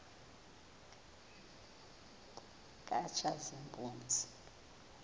katshazimpuzi